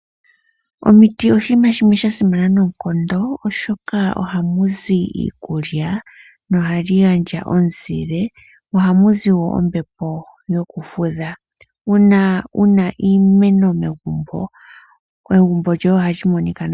Omiti odjo iinima yimwe yasimana noonkondo, oshoka ohaku zi iikulya, nohadhi gandja omuzile, mo ohamu zi wo ombepo yokufudha. Uuna wuna iimeno megumbo, egumbo lyoye ohali monika nawa.